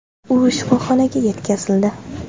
U shifoxonaga yetkazildi.